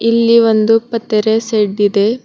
ಇಲ್ಲಿ ಒಂದು ಪಾತ್ರಸ್ ಸೆಡ್ ಇದೆ.